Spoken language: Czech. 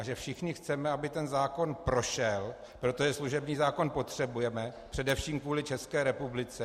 A že všichni chceme, aby ten zákon prošel, protože služební zákon potřebujeme především kvůli České republice.